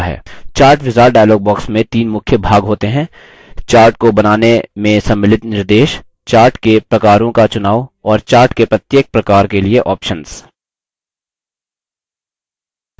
chart wizard dialog box में the मुख्य भाग होते हैं chart को बनाने में सम्मिलित निर्देश chart के प्रकारों का चुनाव और chart के प्रत्येक प्रकार के लिए options